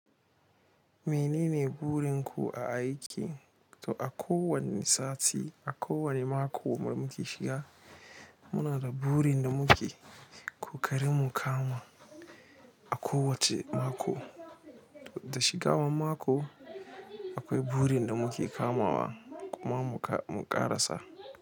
Menene burin ku a aiki? To a kowanne sati, a kowane mako mu muke shiga, muna da burin da muke ƙoƙarin mu kama a kowacce mako. Da shiga wa mako akwai burin da muke kamawa kuma mu ƙarasa.